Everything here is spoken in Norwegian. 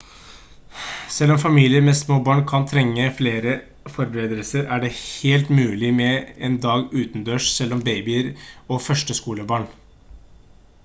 selv om familier med små barn kan trenge flere forberedelser er det helt mulig med en dag utendørs selv med babyer og førskolebarn